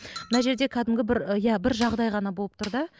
мына жерде кәдімгі бір иә бір жағдай ғана болып тұр да